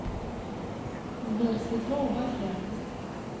сбер светло убавь яркость